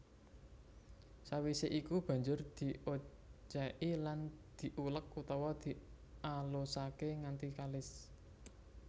Sawisé iku banjur diocéki lan diuleg utawa dialusaké nganti kalis